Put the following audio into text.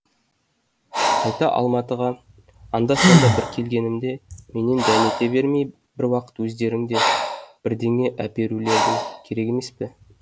қайта алматыға анда санда бір келгенімде менен дәмете бермей бір уақыт өздерің де бірдеңе әперулерің керек емес пе